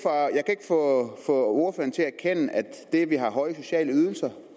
få ordføreren til at det at vi har høje sociale ydelser og